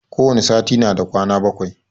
Ko wani sati na da kwana bakwai